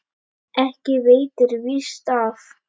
Ekki veitir víst af.